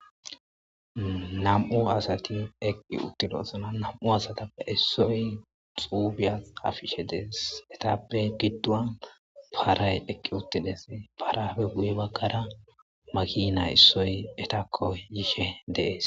Nam'u asati eqid utidosona, nam'u asatappe issoy xuufiya xafishe Des, etappe giddon Patay eqi utudes, parappe guye bagara makina issoy etako yishe De'es.